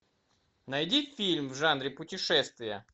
найди фильм в жанре путешествия